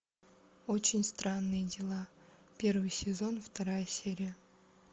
очень странные дела первый сезон вторая серия